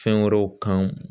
Fɛn wɛrɛw kan